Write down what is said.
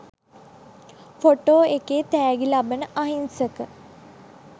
photo එකේ තෑගි ලබන අහිංසක